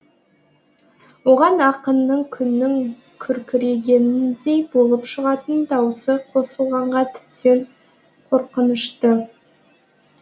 оған ақыннын күннің күркірегеніндей болып шығатын дауысы қосылғанға тіптен қорқынышты